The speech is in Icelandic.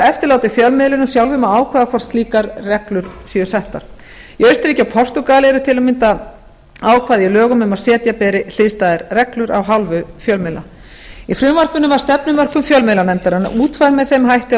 eftirlátið fjölmiðlinum sjálfum að ákveða hvort slíkar reglur séu settar í austurríki og portúgal eru til að mynda ákvæði í lögum um að setja beri hliðstæðar reglur af hálfu fjölmiðla í frumvarpinu var stefnumörkun fjölmiðlanefndarinnar útfærð með þeim hætti að